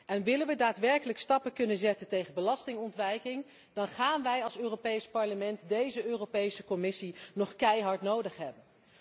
En willen wij daadwerkelijk stappen kunnen zetten tegen belastingontwijking, dan gaan wij als Europees Parlement deze Europese Commissie nog keihard nodig hebben.